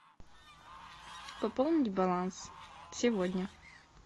пополнить баланс сегодня